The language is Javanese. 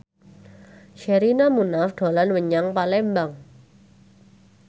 Sherina Munaf dolan menyang Palembang